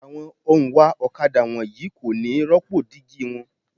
Àwọn òǹwà ọ̀kadà wọ̀nyí kò ní rópò dígí wọn.